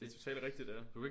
Det totalt rigtigt ja